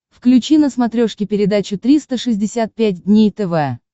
включи на смотрешке передачу триста шестьдесят пять дней тв